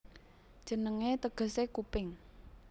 Jenengé tegesé Kuping